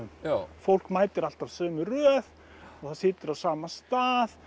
fólk mætir alltaf sömu röð og það situr á sama stað